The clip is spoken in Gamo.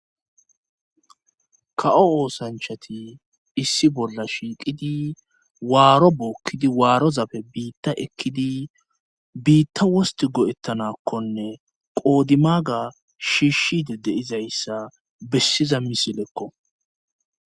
Ka7o oosanchati issi bolla shiiqidi waaro buokkidi waarozapfe biitta ekkidi biitta wosti go7ettanakkonne qoodimaga shiishshide deizayssa bessiza misilekko